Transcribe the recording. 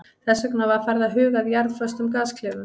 Þess vegna var farið að huga að jarðföstum gasklefum.